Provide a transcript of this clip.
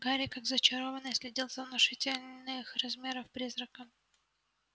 гарри как зачарованный следил за внушительных размеров призраком